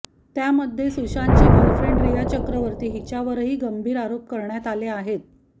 त्यामध्ये सुशांतची गर्लफ्रेंड रिया चक्रवर्ती हिच्यावरही गंभीर आरोप करण्यात आले आहेत